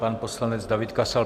Pan poslanec David Kasal.